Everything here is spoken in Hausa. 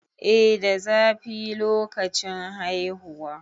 eh da zafi lokacin haihuwa